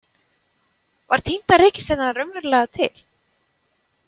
Var týnda reikistjarnan raunverulega til?